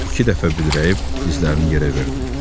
İki dəfə büdrəyib dizlərini yerə verdi.